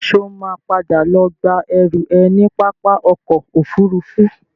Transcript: Ṣo ma padà lọ gba ẹrú ẹ ní pápá ọkọ̀ Òfurufú?